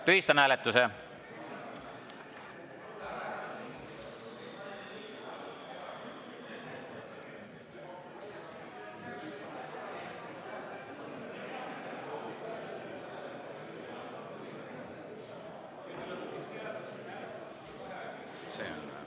Tühistan hääletuse.